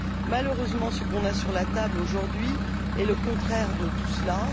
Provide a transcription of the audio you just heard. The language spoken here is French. Malheureusement, ce qu'on a sur la table, aujourd'hui, est le contraire de tout cela.